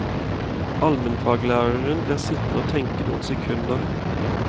Almenfaglæreren blir sittende og tenke noen sekunder.